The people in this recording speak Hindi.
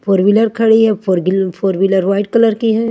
फोर वीलर खड़ी हुई हे four wheeler four wheeler white colour की हैं।